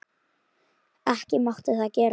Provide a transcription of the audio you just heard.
Ekki mátti það gerast.